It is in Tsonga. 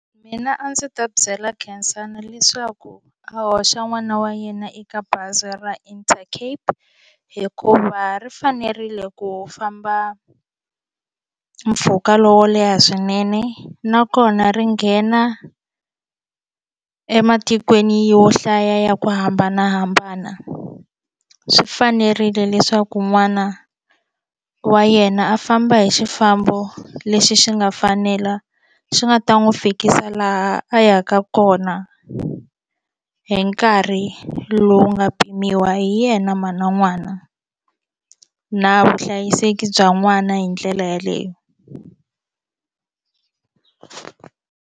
Mina a ndzi ta byela Khensani leswaku a hoxa n'wana wa yena eka bazi ra Intercape hikuva ri fanerile ku famba mpfhuka lowo leha swinene nakona ri nghena ematikweni yo hlaya ya ku hambanahambana swi fanerile leswaku n'wana wa yena a famba hi xifambo lexi xi nga fanela xi nga ta n'wi fikisa laha a yaka kona hi nkarhi lowu nga pimiwa hi yena mhana n'wana na vuhlayiseki bya n'wana hi ndlela yeleyo.